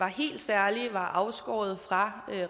helt særligt var afskåret fra